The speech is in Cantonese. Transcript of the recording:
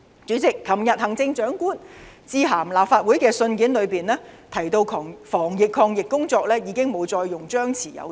主席，行政長官在昨天致函立法會的信件中提到，防疫抗疫工作已不再採取張弛有度的策略。